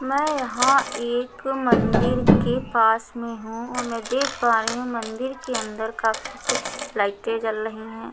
मैं यहां एक मंदिर के पास में हूं और मैं देख पा रही हूं मंदिर के अंदर काफी कुछ लाइटें जल रही हैं।